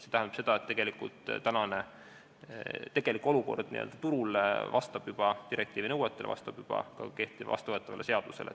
See tähendab, et tegelik olukord n-ö turul vastab juba direktiivi nõuetele, vastab juba ka vastuvõetavale seadusele.